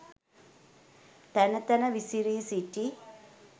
තැන තැන විසිරි සිටි